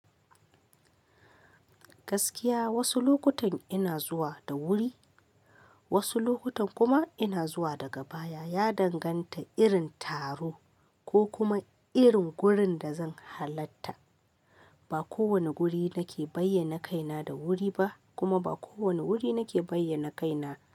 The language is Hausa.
Gaskiya wasu lokutan ina zuwa da wuri, wasu lokutan kuma ina zuwa daga baya, ya danganta irin taro ko kuma irin gurin da zan halatta. Ba kowane guri nake bayyana kaina da wuri ba, kuma ba kowane wuri nake bayyana kaina.